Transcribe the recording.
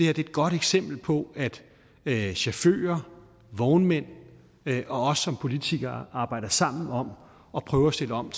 er et godt eksempel på at chauffører vognmænd og os som politikere arbejder sammen om at prøve at stille om